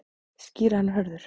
Skýra hann Hörður.